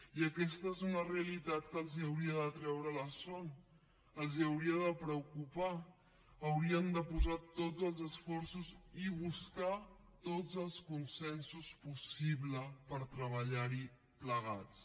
i aquesta és una realitat que els hauria de treure la son els hauria de preocupar haurien de posar tots els esforços i buscar tots els consensos possibles per treballarhi plegats